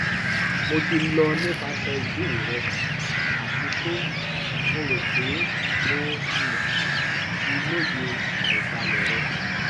mo ti lọ nipasẹ ibeere rẹ ati pe mo ro pe mo um ti loye aibalẹ rẹ